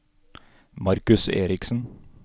Markus Eriksen